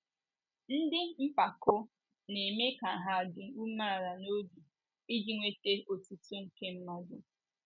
Ndị mpako na - eme ka hà adị umeala n’obi, iji nweta otuto nke mmadụ.